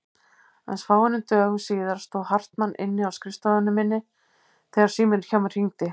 Aðeins fáeinum dögum síðar stóð Hartmann inni á skrifstofu minni þegar síminn hjá mér hringdi.